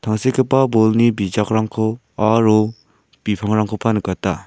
tangsekgipa bolni bijakrangko aro bipangrangkoba nikata.